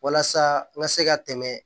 Walasa n ka se ka tɛmɛ